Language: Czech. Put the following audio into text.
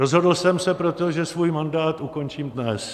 Rozhodl jsem se proto, že svůj mandát ukončím dnes.